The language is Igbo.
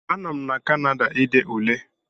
A nọ m na Kanada ide Ule